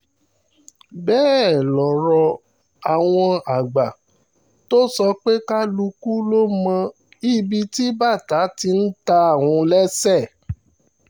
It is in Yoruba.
bẹ́ẹ̀ lọ̀rọ̀ àwọn àgbà tó sọ pé kálukú ló mọ ibi tí bàtà ti ń ta òun lẹ́sẹ̀